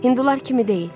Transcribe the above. Hindular kimi deyil.